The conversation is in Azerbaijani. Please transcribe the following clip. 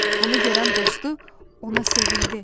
Bunu görən dostu ona sevindi.